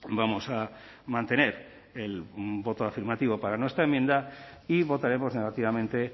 vamos a mantener el voto afirmativo para nuestra enmienda y votaremos negativamente